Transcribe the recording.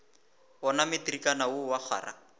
wona matrikana wo wa kgwara